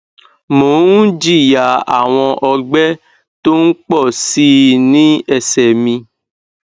mò ń jìyà àwọn ọgbẹ tó ń pọ sí i ní ẹsẹ mi